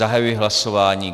Zahajuji hlasování.